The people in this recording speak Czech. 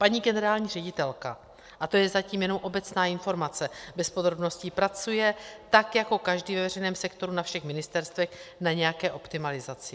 Paní generální ředitelka, a to je zatím jenom obecná informace bez podrobností, pracuje tak jako každý ve veřejném sektoru, na všech ministerstvech, na nějaké optimalizaci.